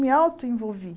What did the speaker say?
Me auto-envolvi.